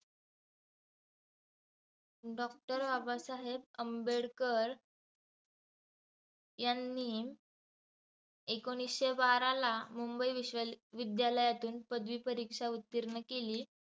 Doctor Babasaheb Ambedkar यांनी एकोणिसशे बाराला मुंबई विश्व विध्यालयातून पदवी परीक्षा उत्तीर्ण केली.